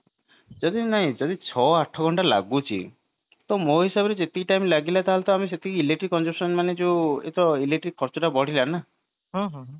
ଯଦି ନାଇଁ ହଁ ଯଦି ଛଅ ଆଠ ଘଣ୍ଟା ଲାଗୁଛି ତ ମୋ ହିସାବରେ ଯେତିକି time ଲାଗିଲା ତାହେଲେ ତ ଆମେ ସେତିକି electric consumption ମାନେ ଇଏ ଯୋଉ electric ଖର୍ଚ୍ଚ ଟା ବଢିଲା ନା